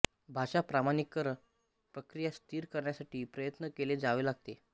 भाषा प्रमाणीकरण प्रक्रिया स्थिर करण्यासाठी प्रयत्न केले जावे लागतात